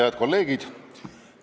Head kolleegid!